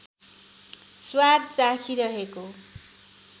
स्वाद चाखिरहेको